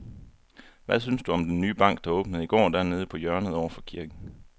Hvad synes du om den nye bank, der åbnede i går dernede på hjørnet over for kirken?